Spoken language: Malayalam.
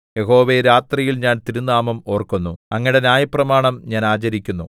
യഹോവേ രാത്രിയിൽ ഞാൻ തിരുനാമം ഓർക്കുന്നു അങ്ങയുടെ ന്യായപ്രമാണം ഞാൻ ആചരിക്കുന്നു